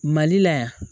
Mali la yan